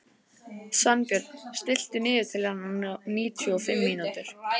Svanbjörn, stilltu niðurteljara á níutíu og fimm mínútur.